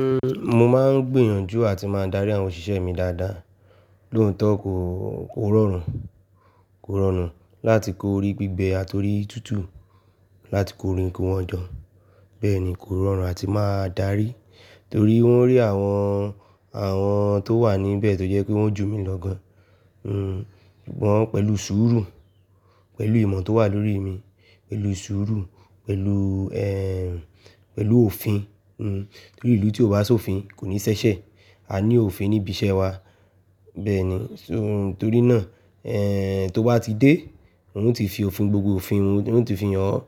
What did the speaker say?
Uhm, mo máa ń gbìyànjú àti máa darí àwọn òṣìṣẹ́ mi dáadáa. Ló tọ́ kó, kò rọrùn, kò rọrùn láti kó orí gbígbẹ àti orí tútù, láti kó orin kí wọ́n jọ. Bẹ́ẹ̀ ni, kò rọrùn àti máa darí torí wọ́n rí àwọn, àwọn tó wà níbẹ̀ tó jẹ́ pé wọ́n jù mí lọ gan. Hmm, ìgbọn pẹ̀lú sùúrù, pẹ̀lú ìmọ̀ tó wà lórí mi, pẹ̀lú sùúrù, pẹ̀lú, eeh, pẹ̀lú òfin. Hmm, torí ìlú tí ò bá sọ òfin kò ní ṣẹṣẹ. A ní òfin níbi iṣẹ́ wa bẹ́ẹ̀ ni. So-- torí náà, eeh, tó bá ti dé, wọn yóò ti fi òfin, gbogbo òfin wọn, wọn yóò ti fi hàn ọ́